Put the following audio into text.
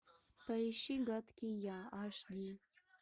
поищи гадкий я аш ди